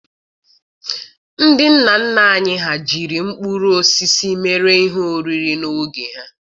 Ndị nna nna anyị ha jiri mkpụrụ osisi mere ihe oriri n'oge ha.